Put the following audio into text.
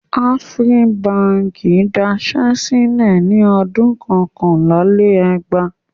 Afri Báńkì daṣẹ́ sílẹ̀ ní ọdún kọkànlá-lé-ẹgbàá.